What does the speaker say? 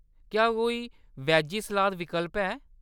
क्या कोई veggie salad विकल्प है ?